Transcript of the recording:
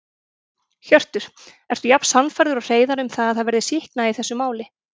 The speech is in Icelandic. Hjörtur: Ertu jafn sannfærður og Hreiðar um að það verði sýknað í þessu máli?